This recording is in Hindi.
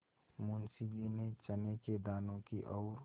मुंशी जी ने चने के दानों की ओर